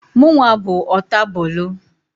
Mụnwa bụ ọtabụlụ.